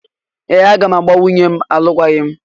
Ee! Aga m agbà nwunye m alụkwaghịm.